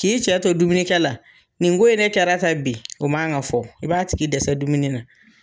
K'i cɛ to dumuni kɛ la, nin ko in ne kɛra tan bi, o man kan ka fɔ, i b'a tigi dɛsɛ dumuni na.